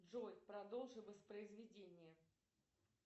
джой продолжи воспроизведение